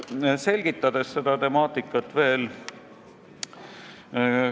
Selgitan seda temaatikat veel.